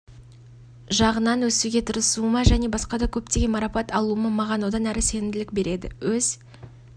жағынан өсуге тырысуыма және басқа да көптеген марапат алуыма маған одан әрі сенімділік береді өз